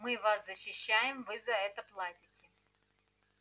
мы вас защищаем вы за это платите